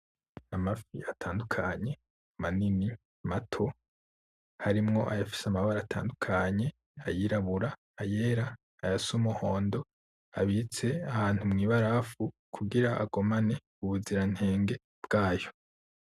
Amafi atandukanye manini, mato harimwo ayafise amabara atandukanye ayirabura, ayera ayasa umuhondo abitse ahantu mw,ibarafu kugira agumane ubuziranenge bwayo .